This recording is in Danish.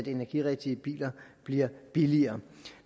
energirigtige biler bliver billigere